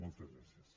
moltes gràcies